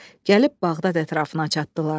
Gəlib Bağdad ətrafına çatdılar.